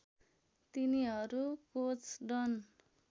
तिनीहरू कोच डन